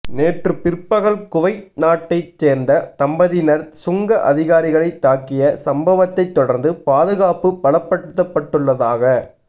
நேற்று பிற்பகல் குவைத் நாட்டைச் சேர்ந்த தம்பதியினர் சுங்க அதிகாரிகளை தாக்கிய சம்பவத்தை தொடர்ந்து பாதுகாப்பு பலப்படுத்தப்பட்டுள்ளதாக